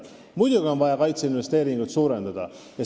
Muidugi on vaja kaitseinvesteeringuid suurendada.